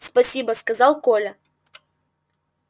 спасибо сказал коля